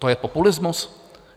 To je populismus?